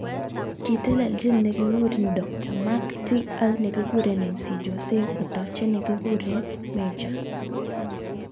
kitelejin nekikure Dj Mr .T ak nekikure MC Jose kotajei nekikure Mejja.